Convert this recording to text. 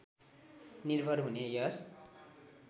निर्भर हुने यस